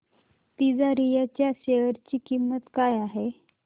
तिजारिया च्या शेअर ची किंमत काय आहे